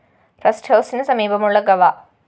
rest ഹൗസിനു സമീപമുള്ള ഗവ